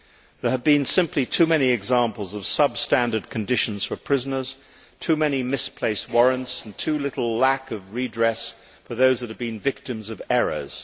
There have been simply too many examples of substandard conditions for prisoners, too many misplaced warrants and too great a lack of redress for those who have been victims of errors.